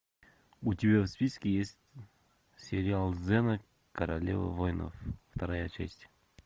у тебя в списке есть сериал зена королева воинов вторая часть